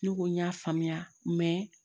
Ne ko n y'a faamuya